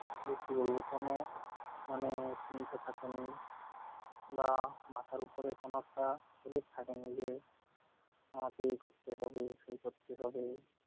সত্যি বলব কোন মানে ঈর্ষা থাকে নি, বা মাথার উপরে কোন একটা headache থাকেনি যে আমাকে এ করতে হবে, সেই করতে হবে